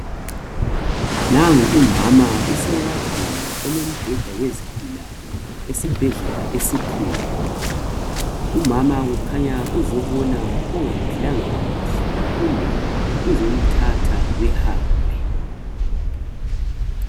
Nangu umama use wardin elemibheda yezigulane esibhedlela esikhulu .Umama kukhanya uzobona ongaphilanga kuhle .Kumbe uzomthatha behambe .